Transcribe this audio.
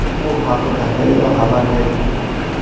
Bu haqida Hello xabar berdi .